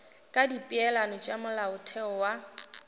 ka dipeelano tša molaotheo wa